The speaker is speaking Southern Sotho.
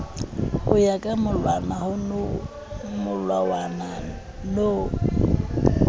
ho ya ka molawana no